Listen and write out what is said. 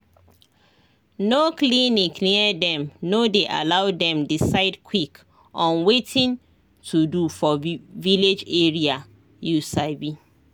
no clinic near dem no dey allow them decide quick on watin to do for village area you sabi